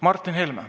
Martin Helme.